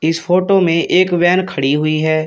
इस फोटो में एक वैन खड़ी हुई है।